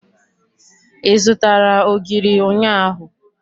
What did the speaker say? Ị zụtara ogiri ụnyaahụ?